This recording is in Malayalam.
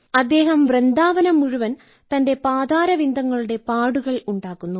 അദ്ദേഹം വൃന്ദാവനം മുഴുവൻ തന്റെ പദാരവിന്ദങ്ങളുടെ പാടുകൾ ഉണ്ടാക്കുന്നു